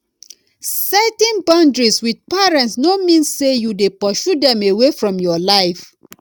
setting boundaries with parents no mean say you de pursue dem away from your life